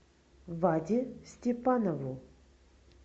ваде степанову